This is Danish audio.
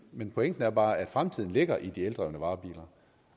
men pointen er bare at fremtiden ligger i de eldrevne varebiler